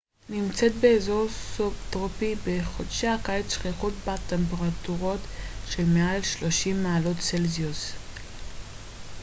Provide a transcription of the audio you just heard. מונטווידאו נמצאת באזור סובטרופי בחודשי הקיץ שכיחות בה טמפרטורות של מעל 30 מעלות צלזיוס